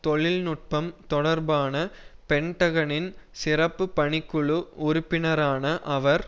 தொழில் நுட்பம் தொடர்பான பென்டகனின் சிறப்பு பணிக்குழு உறுப்பினரான அவர்